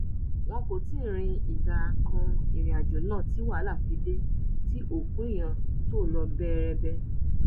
wọn kò tí ì rin ìdá kan ìrìn àjò náà tí wàhálà fi dé tí òkú èèyàn tó lọ bẹẹrẹbẹ